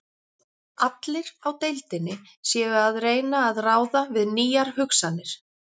Allir á deildinni séu að reyna að ráða við nýjar hugsanir.